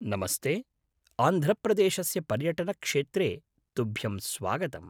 नमस्ते, आन्ध्रप्रदेशस्य पर्यटनक्षेत्रे तुभ्यं स्वागतम्।